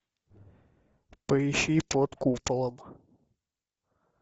поищи под куполом